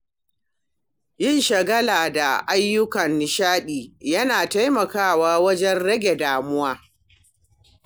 Yin shagala da ayyukan nishaɗi yana taimakawa wajen rage damuwa.